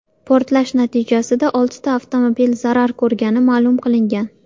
Portlash natijasida oltita avtomobil zarar ko‘rgani ma’lum qilingan.